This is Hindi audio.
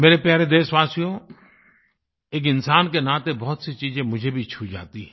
मेरे प्यारे देशवासियो एक इन्सान के नाते बहुतसी चीजें मुझे भी छू जाती हैं